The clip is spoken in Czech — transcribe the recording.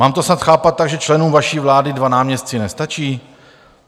Mám to snad chápat tak, že členům vaší vlády dva náměstci nestačí?